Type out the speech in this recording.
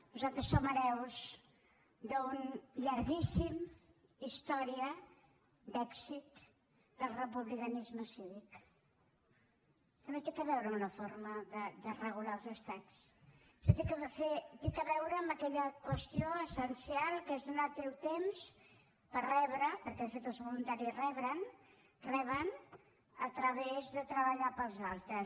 nosaltres som hereus d’una llarguíssima història d’èxit del republicanisme cívic que no té a veure amb la forma de regular els estats sinó que té a veure amb aquella qüestió essencial que és donar el teu temps per rebre perquè de fet els voluntaris reben a través de treballar per als altres